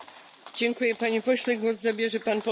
Frau Präsidentin, liebe Kolleginnen und Kollegen!